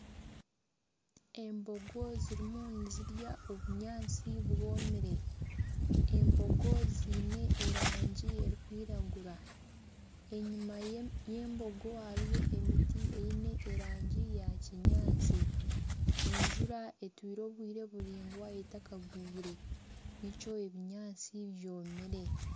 Embogo zirimu nizirya obunyaatsi bwomire. Embogo ziine erangi erikwiragura. Enyima ye y'embogo hariyo emiti eine erangi ya kinyaasti. Enjura etwire obwire buraingwa etakagwire, nikyo ebinyaatsi byomiire.